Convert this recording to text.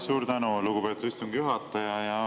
Suur tänu, lugupeetud istungi juhataja!